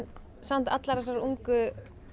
samt allar þessar ungu